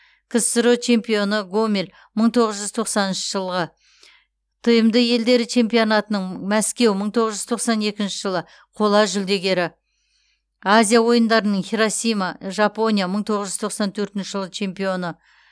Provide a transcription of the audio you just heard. ксро чемпионы гомель мың тоғыз жүз тоқсаныншы жылғы тмд елдері чемпионатының мәскеу мың тоғыз жүз тоқсан екінші жылы қола жүлдегері азия ойындарының хиросима жапония мың тоғыз жүз тоқсан төртінші жылы чемпионы